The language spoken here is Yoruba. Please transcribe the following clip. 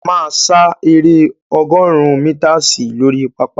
A máa sá eré ọgọ́rùn-ún mítasì lórí pápá.